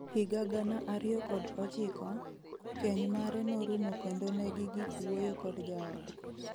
Higa gana ariyo kod ochiko, keny mare norumo kendo negigik wuoyo kod jaode.